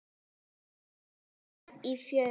Samtal stráka í fjöru